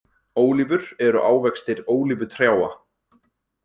Ólífur eru ávextir ólífutrjáa.